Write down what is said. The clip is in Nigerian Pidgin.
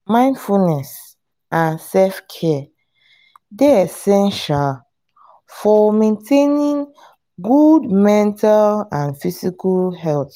mindfulness and self-care dey essential for maintaining good mental and physical health.